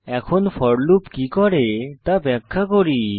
এখন for loop কি করে তা ব্যাখ্যা করি